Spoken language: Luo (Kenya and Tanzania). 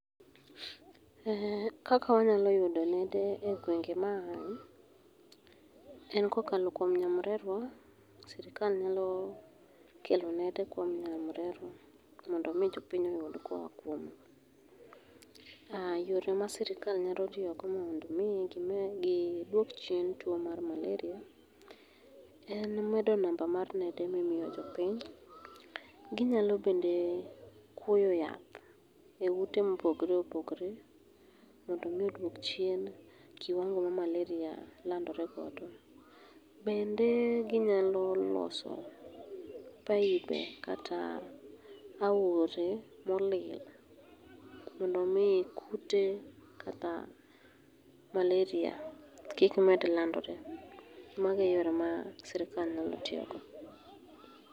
Kaka wanyalo yudo nede e gwenge ma aye, en kokalo kuom nyamrerwa, sirikal nyalo kelo nede kuom nyamrerwa, mondo omi jopiny oyud koa kuom yore ma sirikal nyalo tiyogo mondo omi gidwok chien tuwo mar maleria en medo namba mar nede mimiyo jopiny. Ginyalo bende kwoyo yath e ute mopogore opogor mondo omi odwok chien kiwango ma maleria landore godo. Bende ginyalo loso pibe kata aore molil, mondo omi kute kata maleria kik med landore . Mago e yore ma sirikal nyalo tiyogo.